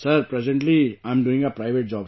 Sir, presently I am doing a private job